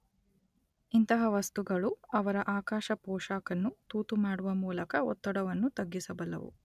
ಇಂತಹ ವಸ್ತುಗಳು ಅವರ ಆಕಾಶ ಪೋಷಾಕನ್ನು ತೂತು ಮಾಡುವ ಮೂಲಕ ಒತ್ತಡವನ್ನು ತಗ್ಗಿಸಬಲ್ಲವು.